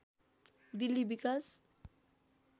दिल्ली विकास